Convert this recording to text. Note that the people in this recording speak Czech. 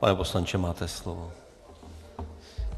Pane poslanče, máte slovo.